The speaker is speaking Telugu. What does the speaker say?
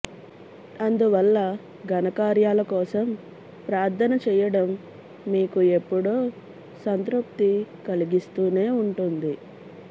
అందువల్ల ఘనకార్యాలకోసం ప్రార్థన చెయ్యడం మీకు ఎప్పుడూ సంతృప్తి కలిగిస్తూనే ఉంటుంది